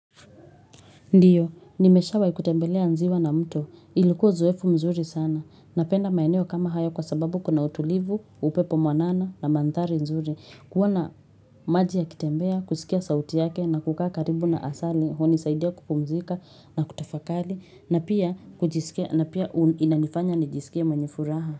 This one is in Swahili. Ndiyo, nimeshawai kutembelea nziwa na mto. Ilikuwa uzoefu mzuri sana. Napenda maeneo kama haya kwa sababu kuna utulivu, upepo mwanana na mandhari mzuri. Kuona maji ya kitembea, kusikia sauti yake na kukaa karibu na asalia, hunisaidia kupumzika na kutafakali na pia inanifanya nijisikie mwenye furaha.